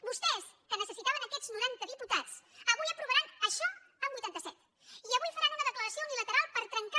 vostès que necessitaven aquests noranta diputats avui aprovaran això amb vuitanta set diputats i avui faran una declaració unilateral per trencar